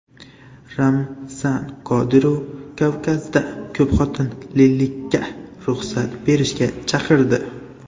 Ramzan Qodirov Kavkazda ko‘pxotinlilikka ruxsat berishga chaqirdi.